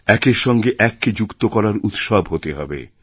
একের সঙ্গে এককে যুক্ত করার উৎসব হতেহবে